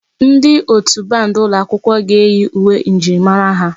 Ndi otù band ụlọ akwụkwọ ga-eyi uwe njirimara ha.